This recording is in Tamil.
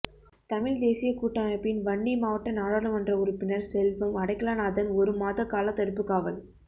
தமிழ்த் தேசியக் கூட்டமைப்பின் வன்னி மாவட்ட நாடாளுமன்ற உறுப்பினர் செல்வம் அடைக்கலநாதன் ஒரு மாத காலத்தடுப்புக் காவல்